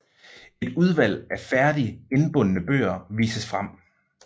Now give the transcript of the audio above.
Et udvalg af færdig indbundne bøger vises frem